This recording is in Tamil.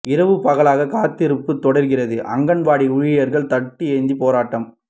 இரவு பகலாக காத்திருப்பு தொடர்கிறது அங்கன்வாடி ஊழியர்கள் தட்டு ஏந்தி போராட்டம்